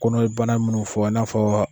Kɔnɔ ye bana minnu fɔ i n'a fɔ.